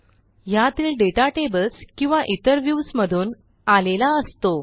ह्यातील data tables किंवा इतर व्ह्यूज मधून आलेला असतो